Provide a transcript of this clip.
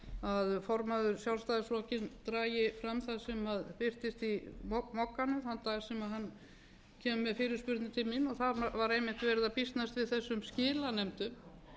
að formaður sjálfstæðisflokksins dragi fram það sem birtist í mogganum þann dag sem hann kemur með fyrirspurnir til mín og það var einmitt verið að býsnast yfir þessum skilanefndum